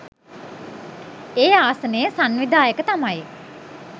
ඒ ආසනයේ සංවිධායක තමයි